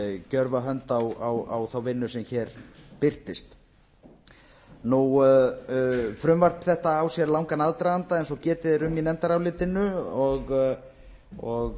gjörva hönd á þá vinnu sem hér birtist frumvarp þetta á sér langan aðdraganda eins og getið er um í nefndarálitinu og